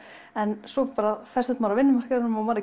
en svo bara festist maður á vinnumarkaðnum og maður